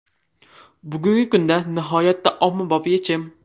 Bugungi kunda nihoyatda ommabop yechim.